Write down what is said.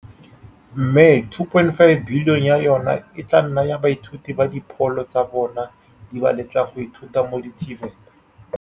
Mme R2.585 bilione ya yona e tla nna ya baithuti ba dipholo tsa bona di ba letlang go ithuta mo di-TVET.